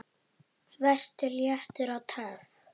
Vertu léttur. og töff!